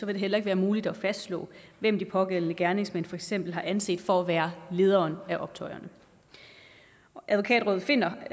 det heller ikke være muligt at fastslå hvem de pågældende gerningsmænd for eksempel har anset for at være lederen af optøjerne advokatrådet finder